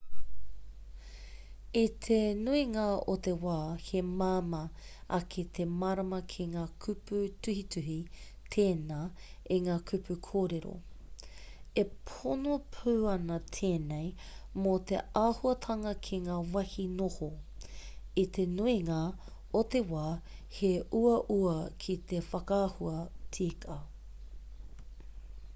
i te nuinga o te wā he māma ake te mārama ki ngā kupu tuhituhi tēnā i ngā kupu kōrero e pono pū ana tēnei mō te āhuatanga ki ngā wāhi noho i te nuinga o te wā he uaua ki te whakahua tika